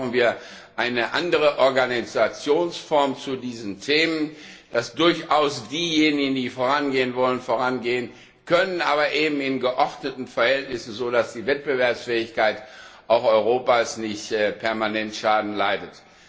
Deswegen brauchen wir eine andere Organisationsform zu diesen Themen, damit diejenigen, die vorangehen wollen, dies auch können, aber eben in geordneten Verhältnissen, sodass die Wettbewerbsfähigkeit auch Europas nicht permanent Schaden leidet.